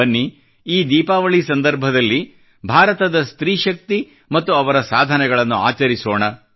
ಬನ್ನಿ ಈ ದೀಪಾವಳಿ ಸಂದರ್ಭದಲ್ಲಿ ಭಾರತದ ಸ್ತ್ರೀ ಶಕ್ತಿ ಮತ್ತು ಅವರ ಸಾಧನೆಗಳನ್ನು ಆಚರಿಸೋಣ